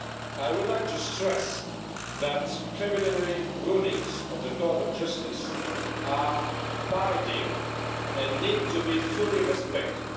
I would like to stress that preliminary rulings of the Court of Justice are biding and need to be fully respected.